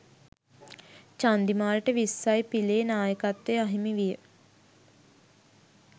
චන්දිමාල්ට විස්සයි පිලේ නායකත්වය අහිමි විය